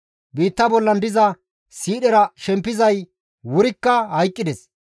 Biitta bollan diza siidhera shempizay wurikka hayqqides.